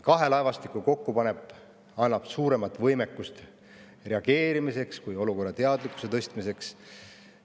Kahe laevastiku kokkupanek annab suurema võimekuse reageerimiseks ja ka olukorrateadlikkuse tõstmiseks.